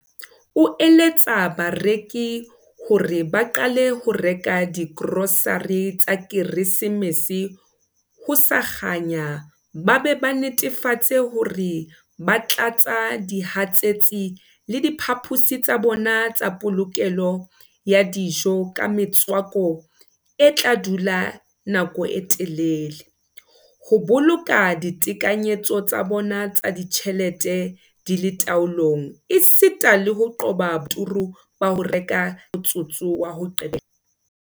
Potgieter o eletsa bareki ka hore ba qale ho reka digrosare tsa Keresemese ho sa kganya ba be ba netefatse hore ba tlatsa dihatsetsi le diphaposi tsa bona tsa polokelo ya dijo ka metswako e tla dula nako e telele, ho boloka ditekanyetso tsa bona tsa ditjhelete di le taolong esita le ho qoba boturu ba ho reka ka motsotso wa ho qetela.